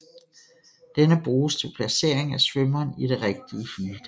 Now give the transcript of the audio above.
Denne bruges til placering af svømmeren i det rigtige heat